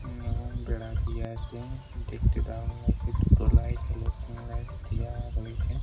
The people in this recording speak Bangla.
উমম এবং বেড়া দেওয়া আছে দেখতে দারুন লাগছে দুটো লাইট হ্যালোজেন লাইট দেওয়া হয়েছে।